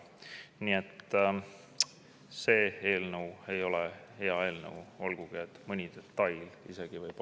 Nii et see eelnõu ei ole hea eelnõu, olgugi et mõni detail võib olla isegi söödav.